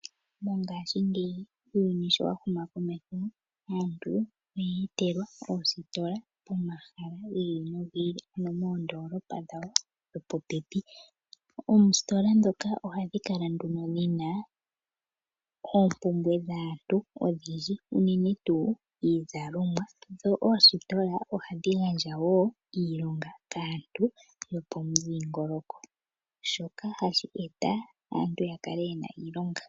Mongashingeyi uuyuni sho wa huma komeho, aantu oye etelwa oositola pomahala gi ili nogi ili ano moondolopa dhawo dho po pepi. Oostola dhoka ohadhi kala nduno muna oompumbwe dhaantu odhindji unene tu iizalomwa dho oositola ohadhi gandja wo iilonga kaantu yopomudhingoloko shoka hashi eta aantu ya kale yena iilonga.